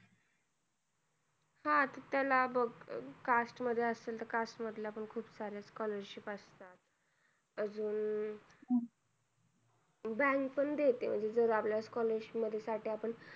हा त्याला बघ caste मध्ये असेल तर caste मधल्या पण खूप साऱ्या scholarship असतात. अजून bank पण देते म्हणजे जर आपल्याला scholarship मध्ये साठी आपण